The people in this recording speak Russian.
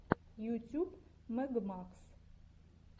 ютюб мэг макс